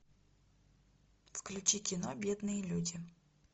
включи кино бедные люди